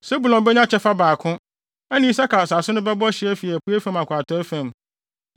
Sebulon benya kyɛfa baako; ɛne Isakar asase no bɛbɔ hye afi apuei fam akɔ atɔe fam.